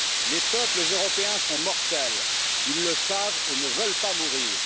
Les peuples européens sont mortels, ils le savent et ne veulent pas mourir.